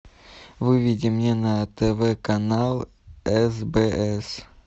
выведи мне на тв канал сбс